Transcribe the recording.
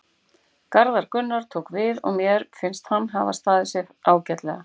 Garðar Gunnar tók við og mér finnst hann hafa staðið sig ágætlega.